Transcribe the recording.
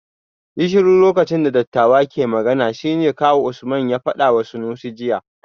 Yi shiru lokacin da dattawa ke magana shine kawu Usman ya fadawa Sanusi jiya